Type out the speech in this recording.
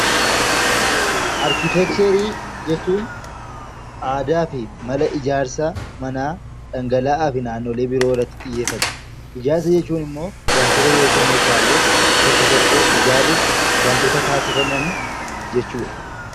Arkiteekcharii jechuun aadaa fi mala ijaarsa manaa dhangala'aa fi naannolee biroo irratti xiyyeeffata. Ijaarsa jechuun immoo wantoota yookiin meeshaalee tokko tokko ijaaruuf waantoota taasifaman jechuu dha.